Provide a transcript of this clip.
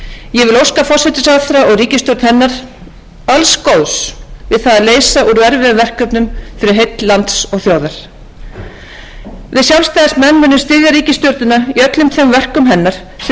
ég vil óska forsætisráðherra og ríkisstjórn hennar alls góðs við það að leysa úr erfiðum verkefnum fyrir heill lands og þjóðar við sjálfstæðismenn munum styðja ríkisstjórnina í öllum þeim verkum hennar sem til framfara horfa fyrir þjóðina en við